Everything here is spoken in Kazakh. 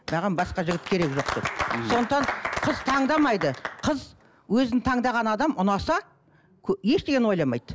маған басқа жігіт керек жоқ сондықтан қыз таңдамайды қыз өзін таңдаған адам ұнаса ештеңені ойламайды